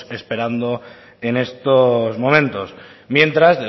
esperando en estos momento mientras